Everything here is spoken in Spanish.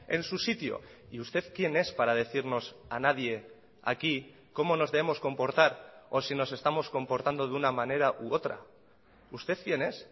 en su sitio y usted quién es para decirnos a nadie aquí como nos debemos comportar o si nos estamos comportando de una manera u otra usted quién es